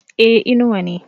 e Inuwa ne